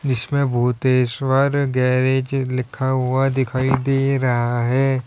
जिसमे भूतेश्वर गैरेज लिखा हुआ दिख रहा है।